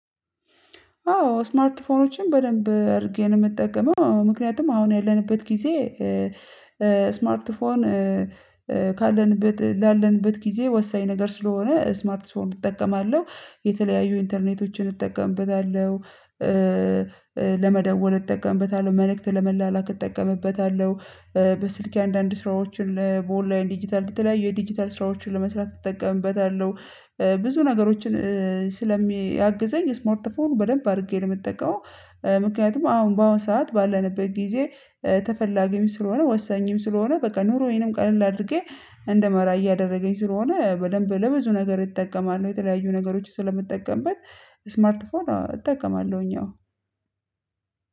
አዎ ስማርት ፎኖችን በደንብ እርጌ ነው የምጠቀመው አወ ምክንያቱም አሁን ያለንበት ጊዜ ስማርት ፎን ካለንበት ላለንበት ጊዜ ወሳኝ ነገር ስለሆነ ስማርት ፎን እጠቀማለሁ የተለያዩ ኢንተርኔቶችን እጠቀምበታለሁ። ለመደወል እጠቀምበታለሁ መልእክት ለመላላክ እጠቀምበታለሁ። በስልኬ አንዳንድ ስራዎችን ለኦንላይን ዲጂታል በተለያዩ የዲጂታል ስራዎችን ለመስራት እጠቀምበታለሁ። ብዙ ነገሮችን ስለሚያግዘኝ የስማርት ፎር በደንብ አድርጌ ነው የምጠቀመው። ምክንያቱም አሁን በአሁን ሰዓት ባለንበት ጊዜ ተፈላጊም ስለሆነ ወሳኝም ስለሆነ በቃ ኑሮዬንም ቀለል አድርጌ እንድመራ እያደረገኝ ስለሆነ በደንብ ለብዙ ነገር እጠቀማለሁ የተለያዩ ነገሮች ስለምጠቀምበት ስማርት ፎን እጠቀማለሁኝ አዎ።